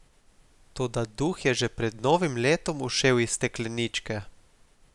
Toda duh je že pred novim letom ušel iz stekleničke.